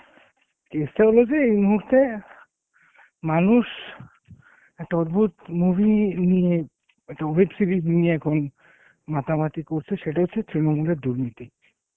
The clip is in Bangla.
case টা হলো যে এই মুহুর্তে মানুষ একটা অদ্ভূত movie নিয়ে একটা web series নিয়ে এখন মাতামাতি করছে সেটা হচ্ছে তৃণমূলের দুর্নীতি